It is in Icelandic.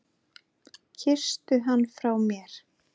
Kysstu hann frá mér.